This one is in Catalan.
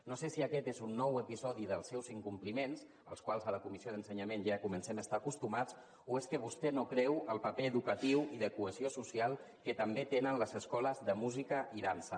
no sé si aquest és un nou episodi dels seus incompliments als quals a la comissió d’ensenyament ja comencem a estar acostumats o és que vostè no creu el paper educatiu i de cohesió social que també tenen les escoles de música i dansa